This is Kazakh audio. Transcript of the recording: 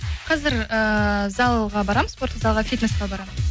қазір ііі залға барамын спорттық залға фитнеске барымын